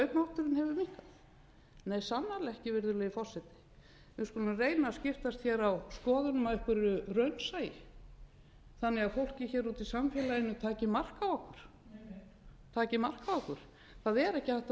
nei sannarlega ekki virðulegi forseti við skulum reyna að skiptast hér á skoðunum af einhverju raunsæi þannig að fólkið hér úti í samfélaginu taki mark á okkur taki mark á okkur það er ekki hægt að